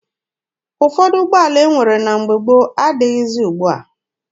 Ụfọdụ ụgbọala e nwere na mgbe gboo adịghịzi ugbua.